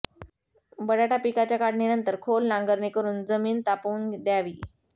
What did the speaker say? बटाटा पिकाच्या काढणीनंतर खोल नांगरणी करून जमीन तापवून दयावी